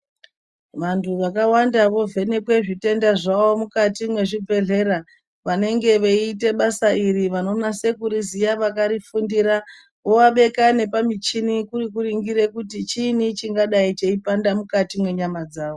Vantu vakawanda vovhenekwe zvitenda zvawo mukati mwezvibhedhlera. Vanenge veiite basa iri vanonase kuriziya, vakarifundira woabeka nepamichini kuri kuringire kuti chiini chingadai cheipanda mwukati mwenyama dzawo.